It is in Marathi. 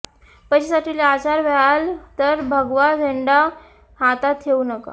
पैशासाठी लाचार व्हाल तर भगवा झेंडा हातात ठेऊ नका